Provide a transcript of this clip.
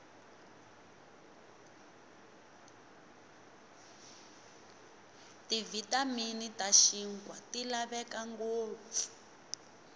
tivitamini tashinkwa tilavekangopfu